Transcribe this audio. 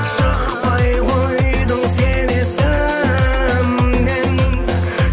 шықпай қойдың сен есімнен